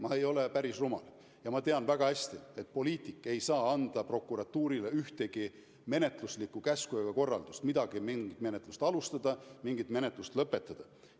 Ma ei ole päris rumal ja ma tean väga hästi, et poliitik ei saa anda prokuratuurile ühtegi menetluslikku käsku, ühtegi korraldust mingit menetlust alustada või mingit menetlust lõpetada.